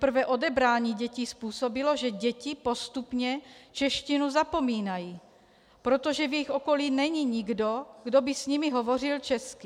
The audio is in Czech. Teprve odebrání dětí způsobilo, že děti postupně češtinu zapomínají, protože v jejich okolí není nikdo, kdo by s nimi hovořil česky.